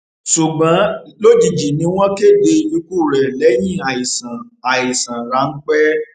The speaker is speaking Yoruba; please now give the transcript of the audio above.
ṣùgbọn lójijì ni wọn kéde ikú rẹ lẹyìn àìsàn àìsàn ráńpẹ